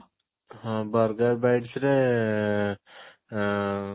ହଁ burger bites ରେ ଆଁ